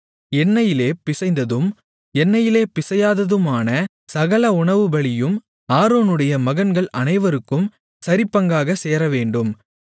எண்ணெயிலே பிசைந்ததும் எண்ணெயிலே பிசையாததுமான சகல உணவுபலியும் ஆரோனுடைய மகன்கள் அனைவருக்கும் சரிபங்காகச் சேரவேண்டும்